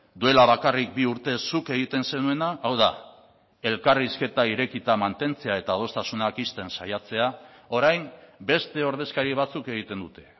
duela bakarrik bi urte zuk egiten zenuena hau da elkarrizketa irekita mantentzea eta adostasunak ixten saiatzea orain beste ordezkari batzuk egiten dute